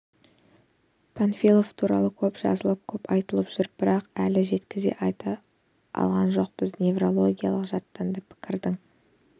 панфилов туралы көп жазылып көп айтылып жүр бірақ әлі жеткізе айта алған жоқпыз неврологиялық жаттанды пікірдің